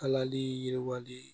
Kalali yiriwali